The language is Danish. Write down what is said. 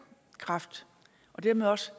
kræft og dermed også